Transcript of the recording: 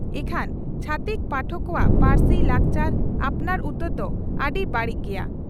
ᱤᱠᱷᱟᱹᱱ ᱪᱷᱟᱹᱛᱤᱠ ᱯᱟᱴᱚᱠ ᱠᱚᱣᱟᱜ ᱯᱟᱹᱨᱥᱤ, ᱞᱟᱠᱪᱟᱨ ᱟᱯᱱᱟᱨ ᱩᱛᱟᱹᱨ ᱫᱚ ᱟᱹᱰᱤ ᱵᱟᱹᱲᱤᱡ ᱜᱮᱭᱟ ᱾